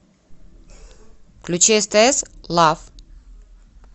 включи стс лав